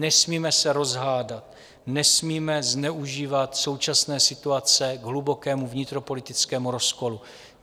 Nesmíme se rozhádat, nesmíme zneužívat současné situace k hlubokému vnitropolitickému rozkolu.